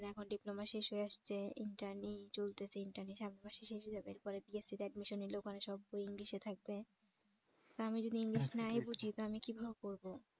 এখন diploma শেষ হয়ে আসছে intern চলতেছে intern সামনে মাসে শেষ হয়ে যাবে এরপর BSC তে admission নিলে ওখানে সব বই english এ থাকবে আমি যদি english নাই বুঝি তো আমি কিভাবে পড়ব